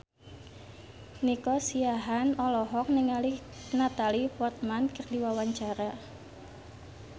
Nico Siahaan olohok ningali Natalie Portman keur diwawancara